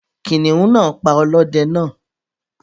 Kìnìún náà pa ọlọ́dẹ náà.